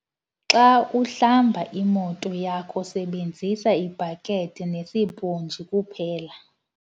Xa uhlamba imoto yakho sebenzisa ibhakhethi nesiphontshi kuphela.